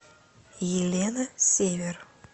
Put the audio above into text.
елена север